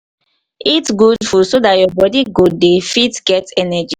eat good food so dat your body go dey fit get energy